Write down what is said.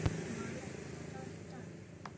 Malen, hvaða dagur er í dag?